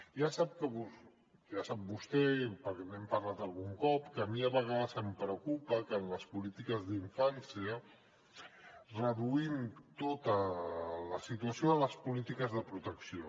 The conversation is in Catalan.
ja sap vostè perquè n’hem parlat algun cop que a mi a vegades em preocupa que en les polítiques d’infància reduïm tota la situació a les polítiques de protecció